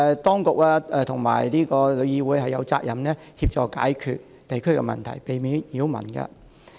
當局和旅議會有責任協助解決地區的問題，避免擾民。